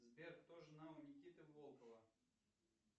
сбер кто жена у никиты волкова